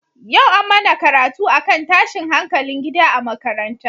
Yau an mana karatu akan tashin hankalin gida a makaranta.